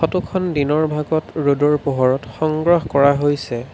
ফটোখন দিনৰ ভাগত ৰ'দৰ পোহৰত সংগ্ৰহ কৰা হৈছে।